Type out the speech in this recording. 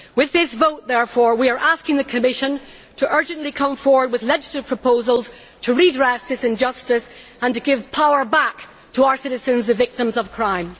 With this vote, therefore, we are asking the Commission to urgently come forward with legislative proposals to redress this injustice and to give power back to our citizens, the victims of crime.